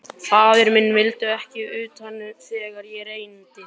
Faðir minn vildi ekki utan þegar á reyndi.